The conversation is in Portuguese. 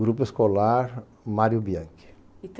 Grupo escolar Mário Bianchi. E